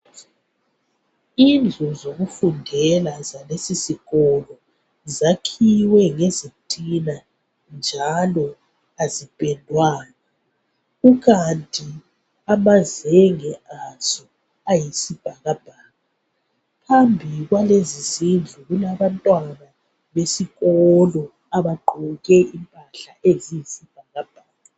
Indlu yokufundela yalesisikolo azipendwanga. ziyakhiwe ngezitina phambili kwamakilasi kulabantwana abagqoke amayunifomu amade amankaza alombala oyisibhakabhaka.